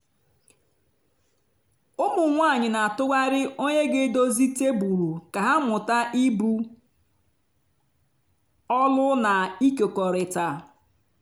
ụmụ anyị n'atụgharị onye ga edozie tebụl ka ha mụta ibu ọlụ na ịkekọrịta.